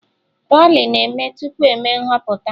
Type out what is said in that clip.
Rali na-eme tupu eme nhọpụta